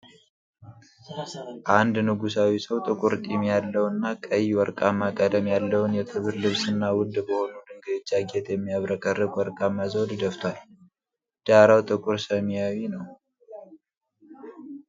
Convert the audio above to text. አንድ ንጉሣዊ ሰው ጥቁር ጢም ያለው እና ቀይና ወርቃማ ቀለም ያለውን የክብር ልብስ እና ውድ በሆኑ ድንጋዮች ያጌጠ የሚያብረቀርቅ ወርቃማ ዘውድ ደፍቷል። ዳራው ጥቁር ሰማያዊ ነው።